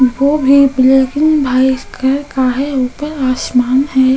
वो भी black and white colour का है ऊपर आसमान है।